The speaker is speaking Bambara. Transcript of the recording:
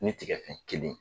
Ne tigɛ kun kelen.